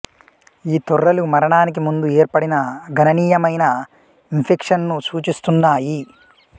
ఈ తొర్రలు మరణానికి ముందు ఏర్పడిన గణనీయమైన ఇంఫెక్షన్ను సూచిస్తున్నాయి